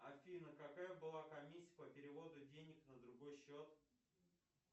афина какая была комиссия по переводу денег на другой счет